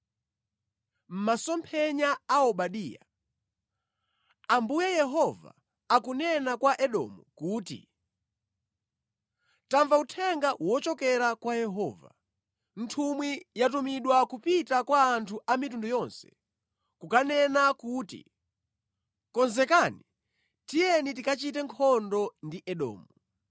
Masomphenya a Obadiya. Ambuye Yehova akunena kwa Edomu kuti, Tamva uthenga wochokera kwa Yehova: Nthumwi yatumidwa kupita kwa anthu a mitundu kukanena kuti, “Konzekani, tiyeni tikachite nkhondo ndi Edomu.”